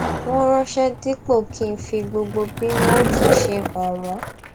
wọn ránṣé díípọ kí ń fi gbogbo bí wọn ó ti ṣe é hàn wọn